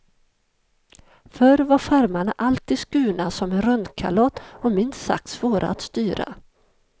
Förr var skärmarna alltid skurna som en rundkalott och minst sagt svåra att styra.